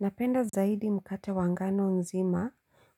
Napenda zaidi mkate wa ngano nzima